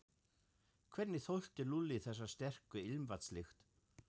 Hvernig þoldi Lúlli þessa sterku ilmvatnslykt.